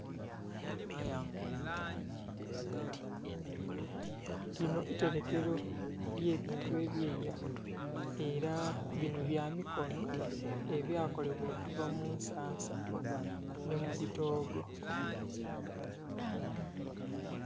Lino iterekero ly'ebintu eby'eira, era bino bya mikono ebya kolebwa okuva mu nsansa nhi mu bitoogo.